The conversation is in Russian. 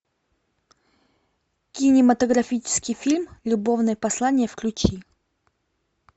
кинематографический фильм любовное послание включи